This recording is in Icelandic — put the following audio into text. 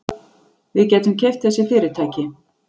Við gætum keypt þessi fyrirtæki.